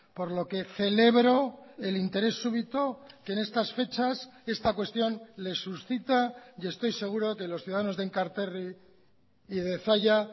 por lo que celebro el interés súbito que en estas fechas esta cuestión les suscita y estoy seguro que los ciudadanos de enkarterri y de zalla